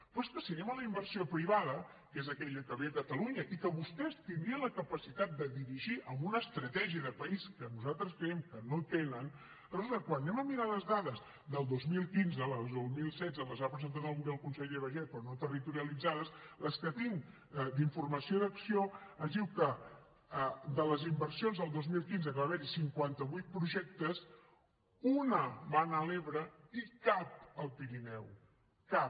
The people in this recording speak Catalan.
però és que si anem a la inversió privada que és aquella que ve a catalunya i que vostès tindrien la capacitat de dirigir amb una estratègia de país que nosaltres creiem que no tenen resulta que quan anem a mirar les dades del dos mil quinze les del dos mil setze les ha presentat avui el conseller baiget però no territorialitzades les que tinc d’informació i d’acció ens diuen que de les inversions del dos mil quinze que va haver hi cinquanta vuit projectes una va anar a l’ebre i cap al pirineu cap